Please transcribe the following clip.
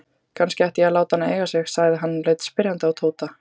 Kannski ég ætti að láta hana eiga sig? sagði hann og leit spyrjandi á Tóta.